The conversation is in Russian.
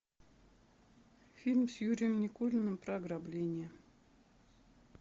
фильм с юрием никулиным про ограбление